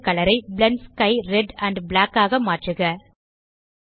world colour eye blend sky red and black ஆக மாற்றுக